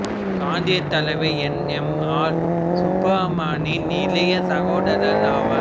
காந்தீயத் தலைவர் N M R சுப்பராமனின் இளைய சகோதரர் ஆவர்